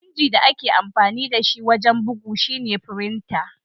Inji da ake amfani da shi wajen bugu shine "frinta."